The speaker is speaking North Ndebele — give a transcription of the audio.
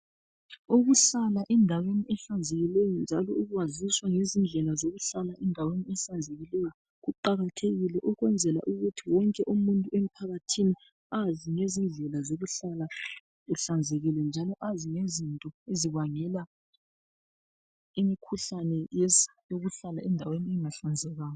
Ukuhlala endaweni ehlanzekileyo njalo ukwaziswa ngezindlela zokuhlala endaweni ehlanzekileyo, kuqakathekile ukwenzela ukuthi wonke umuntu emphakathini azi ngezindlela zokuhlala uhlanzekile njalo azi lezinto ezibangela imikhuhlane yokuhlala endaweni engahlanzekanga.